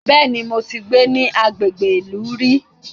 Bẹ́ẹ̀ni, mo ti gbé ní agbègbè ìlú rí